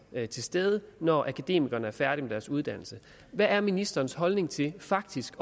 til stede når akademikerne er færdig med deres uddannelse hvad er ministerens holdning til faktisk